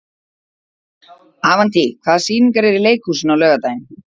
Avantí, hvaða sýningar eru í leikhúsinu á laugardaginn?